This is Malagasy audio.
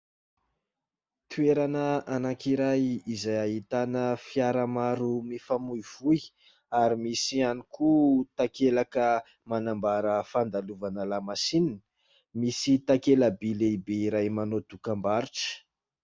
Toerana anankiray izay ahitana fiara maro mifamoivoy ary misy ihany koa takelaka manambara fandalovana lamasinina. Misy takela-by lehibe iray manao dokam-barotra.